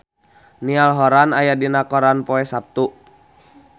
Niall Horran aya dina koran poe Saptu